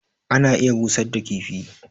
ana iya busar da kifi